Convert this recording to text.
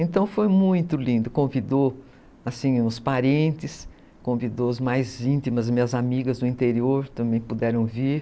Então foi muito lindo, convidou os parentes, convidou as mais íntimas, minhas amigas do interior também puderam vir.